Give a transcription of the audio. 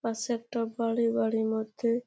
পাশে একটা বাড়ি বাড়ির মধ্যে-এ--